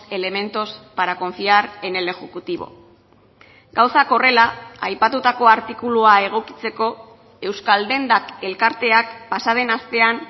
elementos para confiar en el ejecutivo gauzak horrela aipatutako artikulua egokitzeko euskaldendak elkarteak pasa den astean